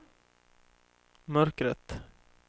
mörkret